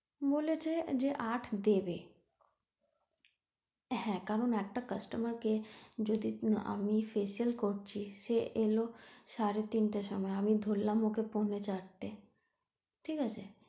বলেছে যে আট দেবে হ্যাঁ কারণ একটা customer কে যদি আমি facial করছি সে এলো সাড়ে তিনটার সময় আমি ধরালাম ওকে পৌনে চারটে ঠিক আছে?